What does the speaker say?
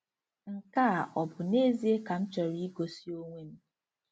Nke a ọ bụ n'ezie ka m chọrọ igosi onwe m?